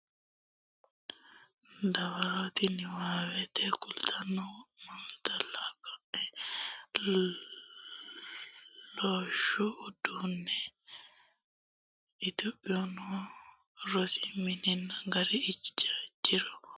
dawarooti niwaawennita lame qara assaawe qolootto a e sayikkitano ledde kulate wo naalatto Kaa looshshu Uduunne Itophiyu noo rosi minna gari jiro noonsakki daafo rosiisaanote rosiisaanote biddissi kolishshu saleedinna chooke calla.